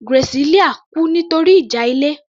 Graciela kú nítorí ìjà ilé